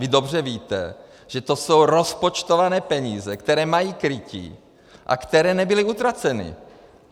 Vy dobře víte, že to jsou rozpočtované peníze, které mají krytí a které nebyly utraceny.